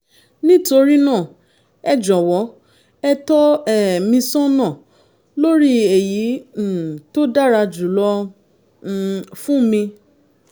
nítorí náà ẹ jọ̀wọ́ ẹ tọ́ um mi sọ́nà lórí èyí um tó dára jùlọ um fún mi